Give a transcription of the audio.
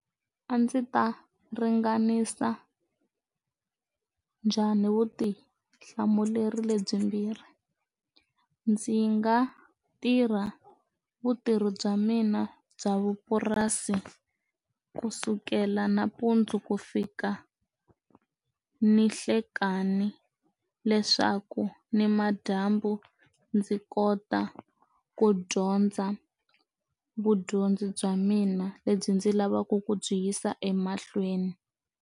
A ndzi ta ringanisa njhani vutihlamuleri lebyimbirhi ndzi nga tirha vutirhi bya mina bya vupurasi kusukela nampundzu ku fika ni hlekani leswaku ni madyambu ndzi kota ku dyondza vudyondzi bya mina lebyi ndzi lavaka ku byi yisa emahlweni.